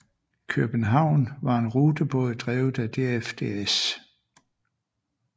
Kjøbenhavn var en rutebåd drevet af DFDS